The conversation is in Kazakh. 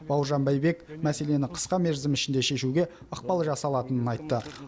бауыржан байбек мәселені қысқа мерзім ішінде шешуге ықпал жасалатынын айтты